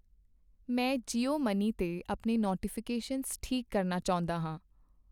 ਮੈਂ ਜੀਓ ਮਨੀ ਤੇ ਆਪਣੇ ਨੋਟੀਫਿਕੇਸ਼ਨਸ ਠੀਕ ਕਰਨਾ ਚਾਹੁੰਦਾ ਹਾਂ